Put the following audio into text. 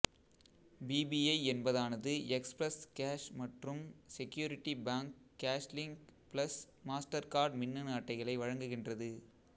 PPI என்பதானது express cash மற்றும் security bank cashlink plus Mastercard மின்னணு அட்டைகளை வழங்குகின்றது